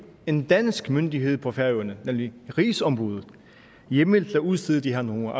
en dansk myndighed på færøerne nemlig rigsombuddet hjemmel til at udstede de her numre